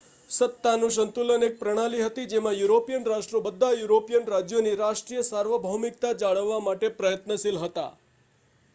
સત્તાનું સંતુલન એક પ્રણાલી હતી જેમાં યુરોપિયન રાષ્ટ્રો બધાં યુરોપિયન રાજ્યોની રાષ્ટ્રીય સાર્વભૌમિકતા જાળવવા માટે પ્રયત્નશીલ હતાં